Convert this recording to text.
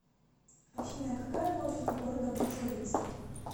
афина какая площадь у города бучовице